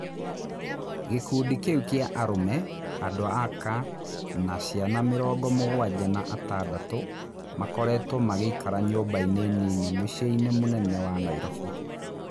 Gĩ kundi kĩ u kĩ a arũme, andũ aka na ciana mĩ rongo mũgwanja na atandatũ makoretwo magĩ ikara nyũmbainĩ nini muciĩ inĩ mũnene wa Nairobi.